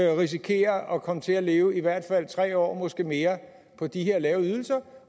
risikere at komme til at leve i hvert fald tre år måske mere på de her lave ydelser